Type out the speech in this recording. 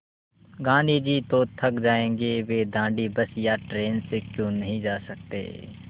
गाँधी जी तो थक जायेंगे वे दाँडी बस या ट्रेन से क्यों नहीं जा सकते